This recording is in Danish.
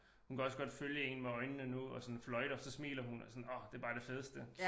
Hun kan også godt følge én med øjnene nu og sådan fløjter så smiler hun og sådan åh det bare det fedeste